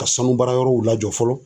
Ka sanu baara yɔrɔw lajɔ fɔlɔ.